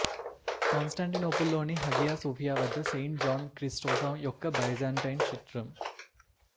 Constantinople లోని Hagia Sophia వద్ద saint John Chrysostom యొక్క బైజాంటైన్ చిత్రం